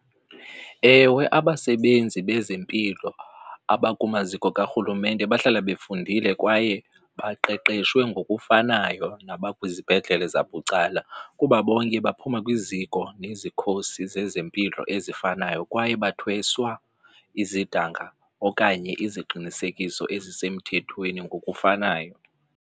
Ewe, abasebenzi bezempilo abakumaziko karhulumente bahlala befundile kwaye baqeqeshwe ngokufanayo nabakwizibhedlele zabucala kuba bonke baphuma kwiziko nezikhosi zezempilo ezifanayo kwaye bathweswa izidanga okanye iziqinisekiso ezisemthethweni ngokufanayo.